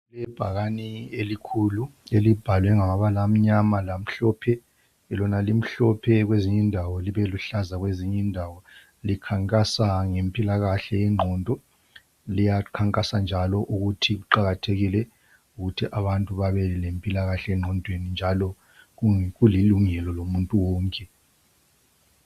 Ibhakane elikhulu elibhalwe ngamabala amnyama lamhlophe lona limhlophe kwezinye indawo libeluhlaza kwezinye indawo likhankasa ngempilakahke yengqondo liyakhankasa njalo ukuthi kuqakathekile ukuthi abantu babe lempilakahle engqondweni njalo kulilungelo